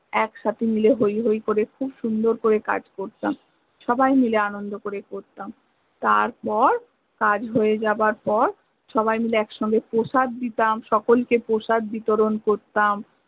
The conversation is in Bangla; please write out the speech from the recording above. একসাথে মিলে হৈ হৈ করে খুব সুন্দর করে কাজ করতাম, সবাই মিলে আনন্দ করে করতাম, তারপর কাজ হয়ে যাবার পর সবাই মিলে এক সঙ্গে প্রসাদ দিতাম, সকলকে প্রসাদ দিতরন করতাম